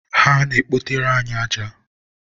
ha na-ekpotere anyị aja.